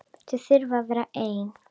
Þau þurfi að vera ein.